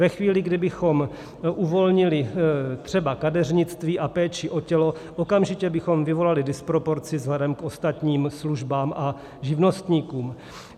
Ve chvíli, kdy bychom uvolnili třeba kadeřnictví a péči o tělo, okamžitě bychom vyvolali disproporci vzhledem k ostatním službám a živnostníkům.